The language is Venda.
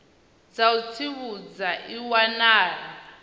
dza u tsivhudza i wanala